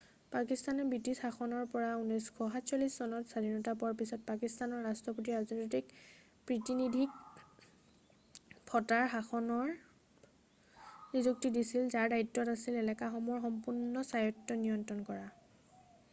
পাকিস্তানে ব্ৰিটিছ শাসনৰ পৰা 1947 চনত স্বাধীনতা পোৱাৰ পিছত পাকিস্তানৰ ৰাষ্ট্ৰপতিয়ে ৰাজনৈতিক প্ৰীতিনিধিক ফটাৰ শাসনৰ নিযুক্তি দিছিল যাৰ দায়িত্ব আছিল এলেকাসমূহৰ সম্পূৰ্ণ স্বায়ত্ব নিয়ন্ত্ৰণ কৰা